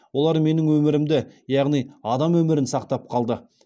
олар менің өмірімді яғни адам өмірін сақтап қалды